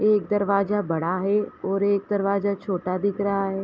एक दरवाजा बड़ा है और एक दरवाजा छोटा दिख रहा है।